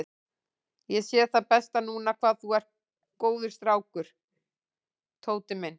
Ég sé það best núna hvað þú ert góður strákur, Tóti minn.